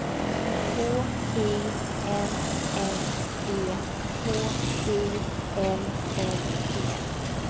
K I N N E K U L L E